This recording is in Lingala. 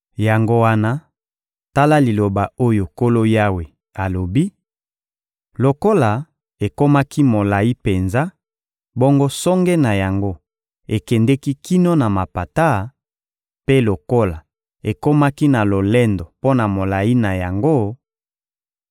Yango wana, tala liloba oyo Nkolo Yawe alobi: Lokola ekomaki molayi penza, bongo songe na yango ekendeki kino na mapata; mpe lokola ekomaki na lolendo mpo na molayi na yango,